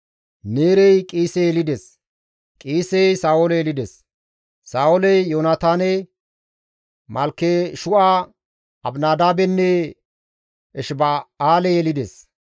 Neerey Qiise yelides; Qiisey Sa7oole yelides. Saa7ooley Yoonataane, Malkeshu7a, Abinadaabenne Eshiba7aale yelides;